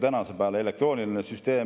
Tänasel päeval on see elektrooniline süsteem.